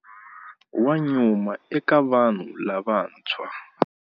Wa nyuma eka vanhu lavantshwa.